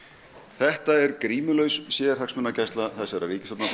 þetta er grímulaus sérhagsmunagæsla þessarar ríkisstjórnar